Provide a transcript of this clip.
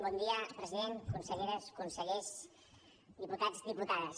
bon dia president conselleres consellers diputats diputades